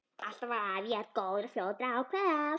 Alltaf var afi jafn góður og fljótur að ákveða allt.